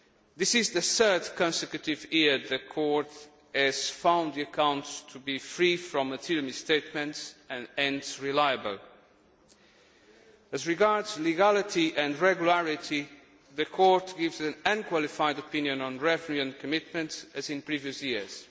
This is the third consecutive year the Court has found the accounts to be free from material misstatements and reliable. As regards legality and regularity, the Court gives an unqualified opinion on revenue and commitments, as in previous years.